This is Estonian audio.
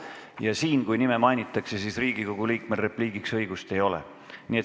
Ja siin, kui kellegi nime mainitakse, Riigikogu liikmel repliigiks õigust ei ole.